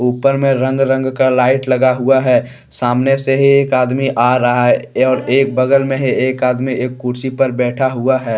ऊपर में रंग- रंग का लाइट लगा हुआ है। सामने से हे एक आदमी आ रहा है और एक बगल में है। एक आदमी एक कुर्सी पर बैठा हुआ है।